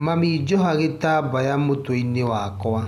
Mami joha gĩtambaya mũtwe-inĩ wakwa.